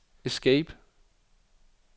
escape